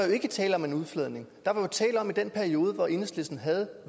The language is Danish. jo ikke tale om en udfladning der var tale om at i den periode hvor enhedslisten havde